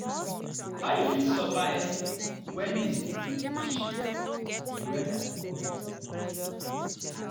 how you fit survive when dey season dey shift and di weather dey unpredictable?